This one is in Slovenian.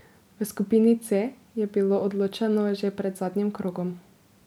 V skupini C je bilo odločeno že pred zadnjim krogom.